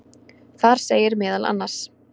Þar segir meðal annars.